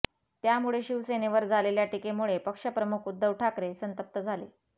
त्यामुळे शिवसेनेवर झालेल्या टीकेमुळे पक्षप्रमुख उद्धव ठाकरे संतप्त झाले